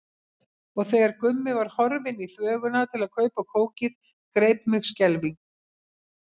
Og þegar Gummi var horfinn í þvöguna til að kaupa kókið greip mig skelfing.